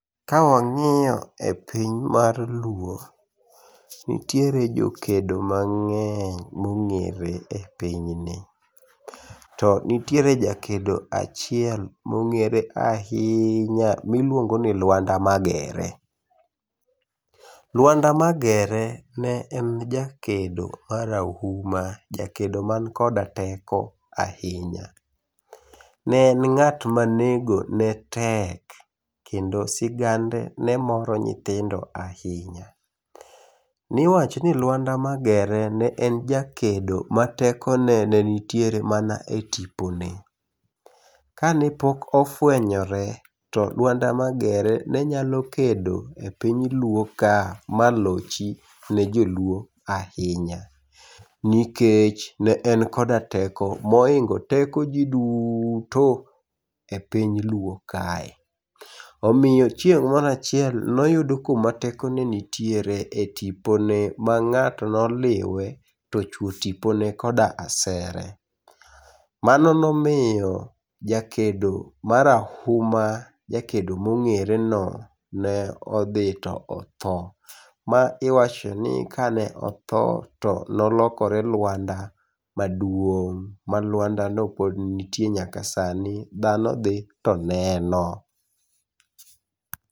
Ka wang'iyo e piny mar Luo, nitiere jokedo mang'eny mong'ere e pinyni. To nitiere jakedo achiel mong'ere ahinya miluongo ni Lwanda Magere. Luanda Magere ne en jakedo ma rahuma. Jakedo man koda teko ahinya. Ne en ng'at ma nego ne tek. Kendo sigande ne moro nyithindo ahinya. Niwacho ni Lwanda Magere ne en jakedo ma teko ne ne nitiere mana e tipone. Kane pok ofwenyore to Lwanda Magere ne nyalo kedo e piny Luo ka ma lochi ne jo Luo ahinya. Nikech ne en koda teko mohingo teko ji duto e piny Luo kae. Omiyo chieng' mor achiel noyud kuma teko ne nitiere e tipone mang'ato ne oliwe to achwo tipone koda asere. Mano nomiyo jakedo ma rahuma, jakedo mong'ere no nodhi to otho. Ma iwacho ni kane otho to nolokore lwanda maduong'. Ma lwanda no pod nitie nyaka sani. Dhano dhi to neno.